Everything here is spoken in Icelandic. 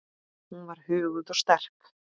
Hún var huguð og sterk.